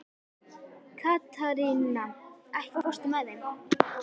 Katharina, ekki fórstu með þeim?